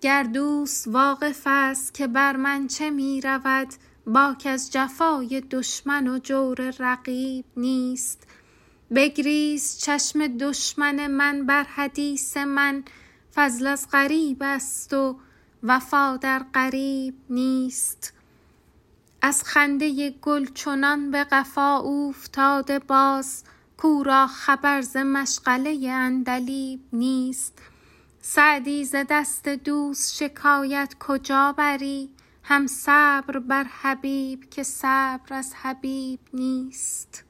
گر دوست واقف ست که بر من چه می رود باک از جفای دشمن و جور رقیب نیست بگریست چشم دشمن من بر حدیث من فضل از غریب هست و وفا در قریب نیست از خنده گل چنان به قفا اوفتاده باز کو را خبر ز مشغله عندلیب نیست سعدی ز دست دوست شکایت کجا بری هم صبر بر حبیب که صبر از حبیب نیست